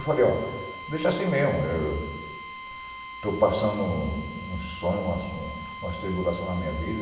Eu falei, ó, deixa assim mesmo, eu eu estou passando uns sonhos, umas umas tribulação na minha vida.